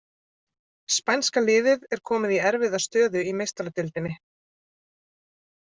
Spænska liðið er komið í erfiða stöðu í Meistaradeildinni!